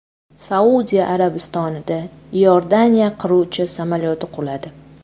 Saudiya Arabistonida Iordaniya qiruvchi samolyoti quladi.